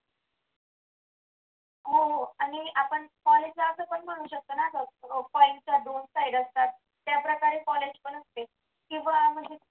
हो हो आणि college ला आपण असं म्हणू शकतो ना अजून open च्या दोन side असतात त्या प्रकारे college पण असते किंवा म्हणजे